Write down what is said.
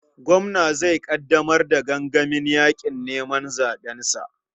Gwamna zai ƙaddamar da gangamin yaƙin neman zaɓensa.